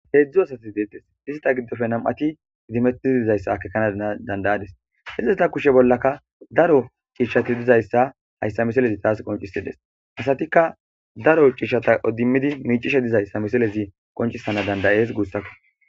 Hezhzhu asati detees issitappe nam''ati idimetti dizayissa akekana danida'adiss. Izeta kushshe bollakka daro cishshatti dizayissa hayissa missileza qonccisana danida'ides.hessatikka Daro cishata idimidi dizayissa hayissa missilezzi qonccisana danida'ides gussakko.